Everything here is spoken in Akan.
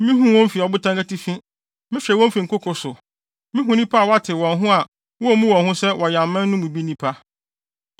Mihu wɔn fi ɔbotan atifi; mehwɛ wɔn fi nkoko so. Mihu nnipa a wɔatew wɔn ho a wommu wɔn ho sɛ wɔyɛ aman no bi mu nnipa.